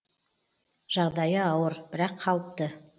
жағдайы ауыр бірақ қалыпты